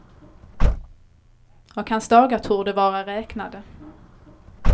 Och hans dagar torde vara räknade.